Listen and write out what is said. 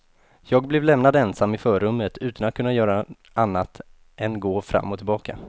Jag blev lämnad ensam i förrummet utan att kunna göra annat än gå fram och tillbaka.